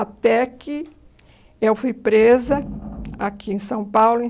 Até que eu fui presa aqui em São Paulo em